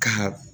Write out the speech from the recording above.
Ka